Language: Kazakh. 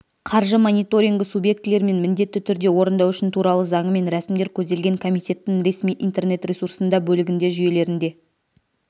қаржы мониторингі субъектілерімен міндетті түрде орындау үшін туралы заңымен рәсімдер көзделген комитеттін ресми интернет-ресурсында бөлігінде жүйелерінде